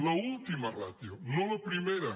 l’última rà·tio no la primera